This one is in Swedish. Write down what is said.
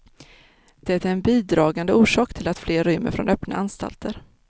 Det är en bidragande orsak till att fler rymmer från öppna anstalter.